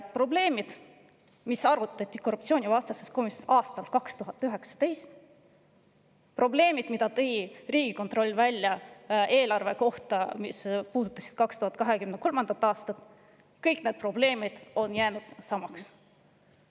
Probleemid, mille üle arutati korruptsioonivastases komisjonis aastal 2019, samuti need, mida Riigikontroll nimetas eelarve kohta, mis puudutas 2023. aastat – kõik need probleemid on jäänud samaks.